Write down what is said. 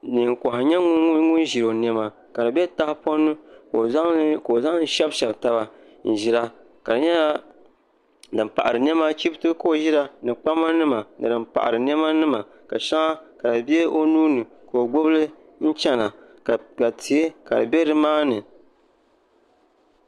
Neen koha n nyɛ ŋun ʒi o niɛma ka di bɛ tahapoŋ ni ka o zaŋli shɛbi shɛbi taba n ʒira ka di nyɛla din paɣari niɛma chibiti ka o ʒira ni kpama nima ni din paɣari niɛma nima ka shɛŋa ka di bɛ o nuuni ka o gbubili n chɛna ka tihi ka di bɛ nimaani